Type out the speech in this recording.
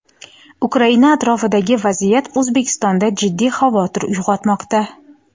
Ukraina atrofidagi vaziyat Oʼzbekistonda jiddiy xavotir uygʼotmoqda.